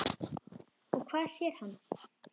Og hvað sér hann?